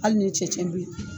Hali ni cɛncɛn be yen